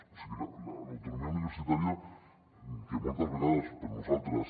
o sigui l’autonomia universitària que moltes vegades per nosaltres